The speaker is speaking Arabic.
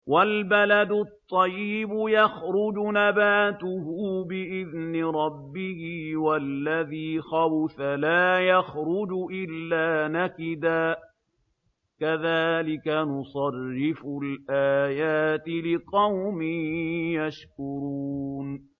وَالْبَلَدُ الطَّيِّبُ يَخْرُجُ نَبَاتُهُ بِإِذْنِ رَبِّهِ ۖ وَالَّذِي خَبُثَ لَا يَخْرُجُ إِلَّا نَكِدًا ۚ كَذَٰلِكَ نُصَرِّفُ الْآيَاتِ لِقَوْمٍ يَشْكُرُونَ